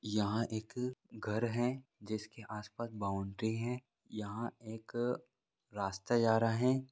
यहाँ एक घर है जिसके आस पास बॉउंड्री है यहाँ एक रास्ता जा रहा है।